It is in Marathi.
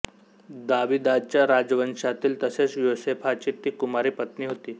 दाविदाच्या राजवंशातील तसेच योसेफाची ती कुमारी पत्नी होती